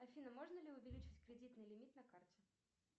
афина можно ли увеличить кредитный лимит на карте